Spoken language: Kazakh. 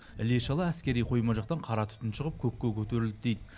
іле шала әскери қойма жақтан қара түтін шығып көкке көтерілді дейді